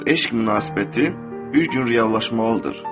Bu eşq münasibəti bir gün reallaşmalıdır.